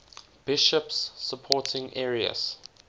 bishops supporting arius